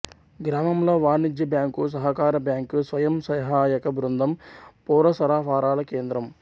గ్రామంలో వాణిజ్య బ్యాంకు సహకార బ్యాంకు స్వయం సహాయక బృందం పౌర సరఫరాల కేంద్రం